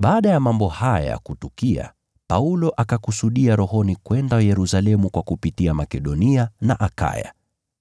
Baada ya mambo haya kutukia, Paulo akakusudia rohoni kwenda Yerusalemu kupitia Makedonia na Akaya.